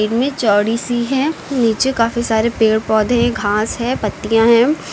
में चौड़ी सी हैं नीचे काफी सारे पेड़ पौधे घास हैं पत्तियां हैं।